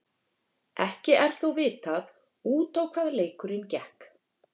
Ekki er þó vitað út á hvað leikurinn gekk.